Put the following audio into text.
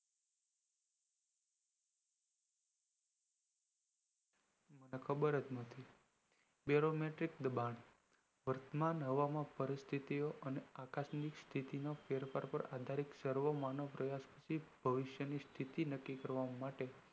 ખબર નથી beromatic દબાણ વર્તમાન હવામાન પરિસ્થિતો અને આકાશ ની સ્થિતિ ના ફેરફાર પાર આધારીત સર્વમાનવ પ્રયાસ થી ભવિષ્યની પરિસ્થિતિ નક્કી કરવા માટે